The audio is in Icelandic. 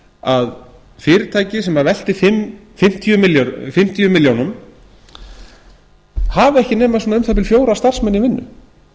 að fyrirtæki sem veltir fimmtíu milljónir hafa ekki nema svona um það bil fjóra starfsmenn í vinnu